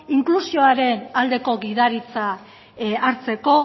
inklusioaren aldeko gidaritza hartzeko